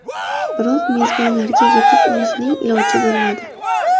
Biroq mezbonlarga yetib olishning iloji bo‘lmadi.